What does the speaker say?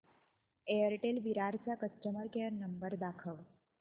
Airtel Virar चा customer care number दाखव